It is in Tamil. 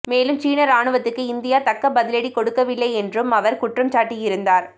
மேலும் சீன ராணுவத்துக்கு இந்தியா தக்க பதிலடி கொடுக்கவில்லை என்றும் அவர் குற்றம் சாட்டி இருந்தார்